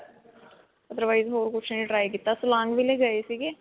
Otherwise ਹੋਰ ਕੁਝ ਨਹੀਂ try ਕੀਤਾ silang ਗਏ ਸੀਗੇ.